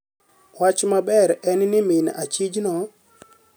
Wach maber en ni min achijno